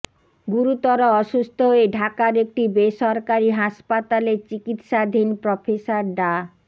গুরুতর অসুস্থ হয়ে ঢাকার একটি বেসরকারী হাসপাতালে চিকিৎসাধীন প্রফেসর ডা